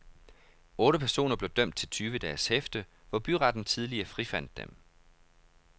Otte personer blev dømt til tyve dages hæfte, hvor byretten tidligere frifandt dem.